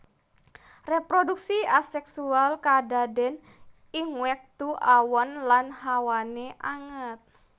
Reproduksi aseksual kadaden ing wektu awan lan hawané anget